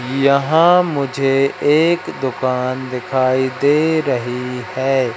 यहां मुझे एक दुकान दिखाई दे रही है।